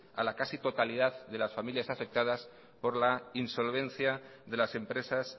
a la casi totalidad de las familias afectadas por la insolvencia de las empresas